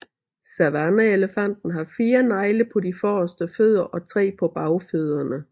Savanneelefanten har fire negle på de forreste fødder og tre på bagfødderne